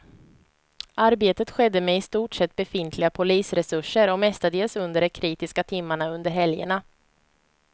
Arbetet skedde med i stort sett befintliga polisresurser och mestadels under de kritiska timmarna under helgerna.